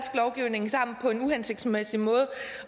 lovgivning sammen på en uhensigtsmæssig måde